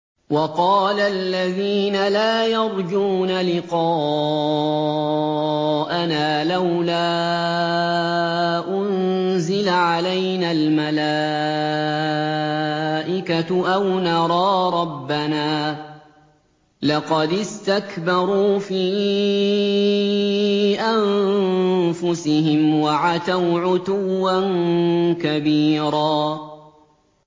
۞ وَقَالَ الَّذِينَ لَا يَرْجُونَ لِقَاءَنَا لَوْلَا أُنزِلَ عَلَيْنَا الْمَلَائِكَةُ أَوْ نَرَىٰ رَبَّنَا ۗ لَقَدِ اسْتَكْبَرُوا فِي أَنفُسِهِمْ وَعَتَوْا عُتُوًّا كَبِيرًا